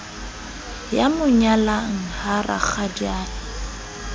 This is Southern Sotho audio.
ya mo nyalang ha rakgadiae